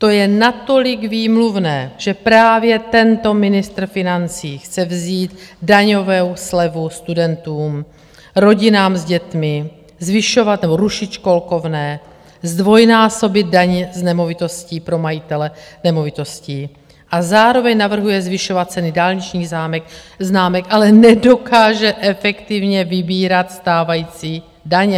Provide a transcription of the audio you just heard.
To je natolik výmluvné, že právě tento ministr financí chce vzít daňovou slevu studentům, rodinám s dětmi, zvyšovat nebo rušit školkovné, zdvojnásobit daně z nemovitosti pro majitele nemovitostí, a zároveň navrhuje zvyšovat ceny dálničních známek, ale nedokáže efektivně vybírat stávající daně.